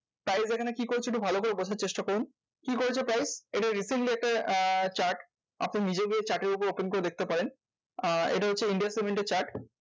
তাহলে এখানে কি করছি ভালো করে বোঝার চেষ্টা করুন? কি করেছে price? এটা recently একটা আহ chart আপনি নিজে গিয়ে chart এর উপর open করে দেখতে পারেন। আহ এটা হচ্ছে ইন্ডিয়া সিমেন্টের chart.